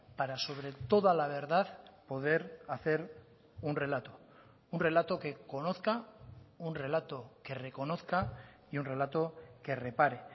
para sobre toda la verdad poder hacer un relato un relato que conozca un relato que reconozca y un relato que repare